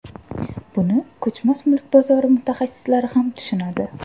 Buni ko‘chmas mulk bozori mutaxassislari ham tushunadi.